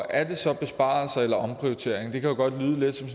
er det så besparelser eller omprioriteringer det kan jo godt lyde lidt som